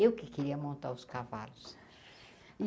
Eu que queria montar os cavalos.